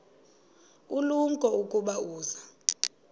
ulumko ukuba uza